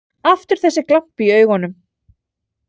Aftur þessi glampi í augunum.